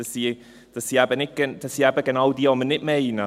Das sind eben genau jene, die wir nicht meinen.